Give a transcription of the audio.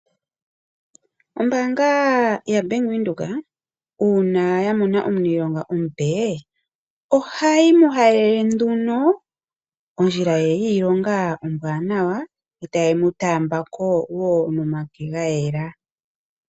Ombaanga ya bank Windhoek uuna yamona omuniilonga omupe ohayi mu halele nduno ondjila ye yiilonga ombwanawa e taye mu taamba ko wo nomake ga yela.